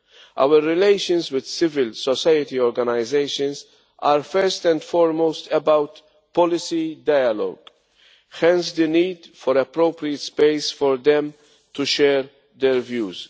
Our relations with civil society organisations are, first and foremost about policy dialogue, hence the need for appropriate space for them to share their views.